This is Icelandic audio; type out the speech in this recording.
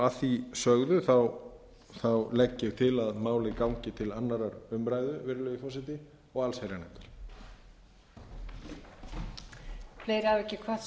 að því sögðu legg ég til að málið gangi til annarrar umræðu virðulegi forseti og allsherjarnefndar